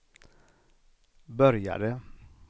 började